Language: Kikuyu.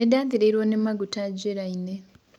Nĩndathĩrĩrwa nĩ magũta njĩraĩnĩ.